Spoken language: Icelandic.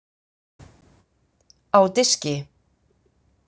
Á diski.